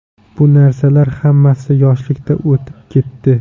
Bu narsalar hammasi yoshlikda o‘tib ketdi.